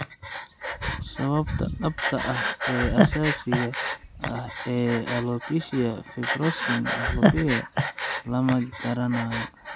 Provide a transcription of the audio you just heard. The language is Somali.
Sababta dhabta ah ee asaasiga ah ee alopecia fibrosing alopecia (FFA) lama garanayo.